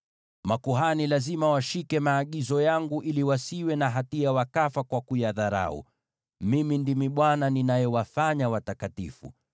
“ ‘Makuhani lazima washike maagizo yangu ili wasiwe na hatia, wakafa kwa kuyadharau. Mimi ndimi Bwana ninayewafanya watakatifu.